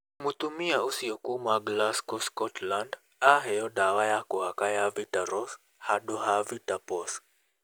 Mũtumia ũcio kuuma Glasgow, Scotland, aheo ndawa ya kũhaka ya Vitaros handũ ha VitA-POS.